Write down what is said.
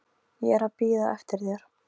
Ég er að bíða eftir þér.